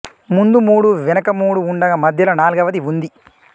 ముందు మూడు వెనుక మూడు ఉండగా మధ్యలో నాల్గవది ఉంది